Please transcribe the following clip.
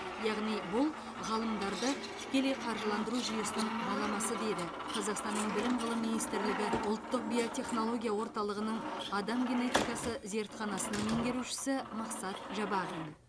яғни бұл ғалымдарды тікелей қаржыландыру жүйесінің баламасы деді қазақстанның білім ғылым министрлігі ұлттық биотехнология орталығының адам генетикасы зертханасының меңгерушісі мақсат жабағин